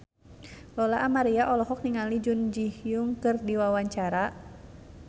Lola Amaria olohok ningali Jun Ji Hyun keur diwawancara